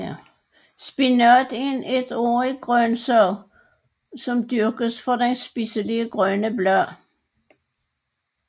Spinat er en etårig grøntsag som dyrkes for dens spiselige grønne blade